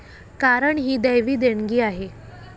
कारण ही दैवी देणगी आहे.